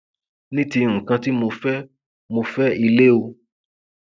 ní ti nǹkan tí mo fẹ mọ fẹ ilé o